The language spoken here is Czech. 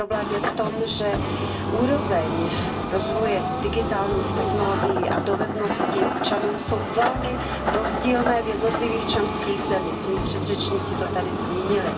Problém je v tom, že úrovně rozvoje digitálních technologií a dovedností občanů jsou velmi rozdílné v jednotlivých členských zemích, moji předřečníci to tady zmínili.